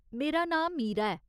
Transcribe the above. मेरा नांऽ मीरा ऐ।